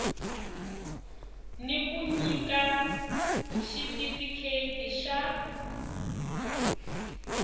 ni ku nyika xitifikheti xa